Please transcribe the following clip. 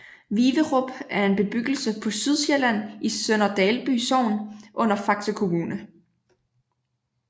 Viverup er en bebyggelse på Sydsjælland i Sønder Dalby Sogn under Faxe Kommune